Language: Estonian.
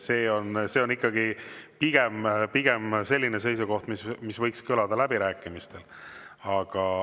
See on ikkagi pigem selline seisukoht, mis võiks kõlada läbirääkimistel.